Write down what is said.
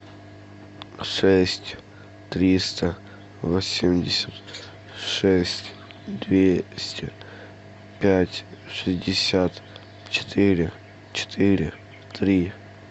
шесть триста восемьдесят шесть двести пять шестьдесят четыре четыре три